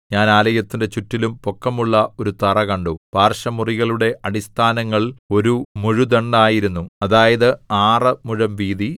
ഞാൻ ആലയത്തിന്റെ ചുറ്റിലും പൊക്കമുള്ള ഒരു തറ കണ്ടു പാർശ്വമുറികളുടെ അടിസ്ഥാനങ്ങൾ ഒരു മുഴുദണ്ഡായിരുന്നു അതായത് ആറ് മുഴം വീതി